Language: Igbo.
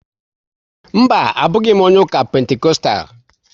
Mba, abụghị m onye ụka Pentikostal